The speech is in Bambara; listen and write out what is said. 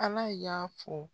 Ala y'a fɔ